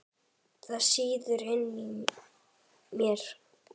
Það sýður inni í mér.